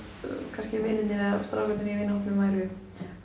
kannski vinirnir eða strákarnir í vinahópnum væru